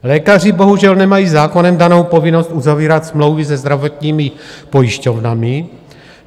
Lékaři bohužel nemají zákonem danou povinnost uzavírat smlouvy se zdravotními pojišťovnami.